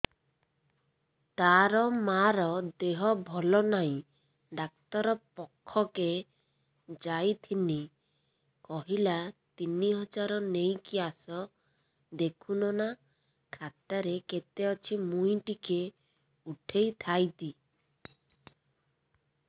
ତାର ମାର ଦେହେ ଭଲ ନାଇଁ ଡାକ୍ତର ପଖକେ ଯାଈଥିନି କହିଲା ତିନ ହଜାର ନେଇକି ଆସ ଦେଖୁନ ନା ଖାତାରେ କେତେ ଅଛି ମୁଇଁ ଟିକେ ଉଠେଇ ଥାଇତି